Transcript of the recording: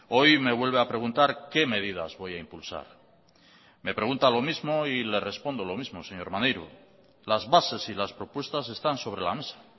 hoy me vuelve a preguntar qué medidas voy a impulsar me pregunta lo mismo y le respondo lo mismo señor maneiro las bases y las propuestas están sobre la mesa